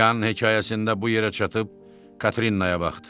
Yan hekayəsində bu yerə çatıb Katrinaya baxdı.